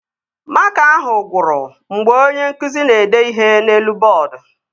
Makaa ahụ gwụrụ mgbe onye nkụzi ahụ na-ede ihe n'elu bọọdu